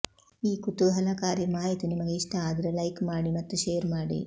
ಈ ಕುತೂಹಲಕಾರಿ ಮಾಹಿತಿ ನಿಮಗೆ ಇಸ್ಟ ಆದ್ರೆ ಲೈಕ್ ಮಾಡಿ ಮತ್ತು ಶೇರ್ ಮಾಡಿ